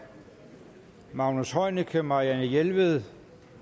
magnus heunicke marianne jelved